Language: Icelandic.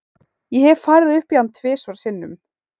Ég hef farið upp í hann tvisvar sinnum.